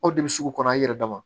Aw de bɛ sugu kɔnɔ aw yɛrɛ dama